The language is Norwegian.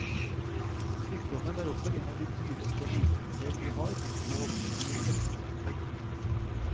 Sykdommen er også en av de dyreste lidelser vi har, målt i helsekroner.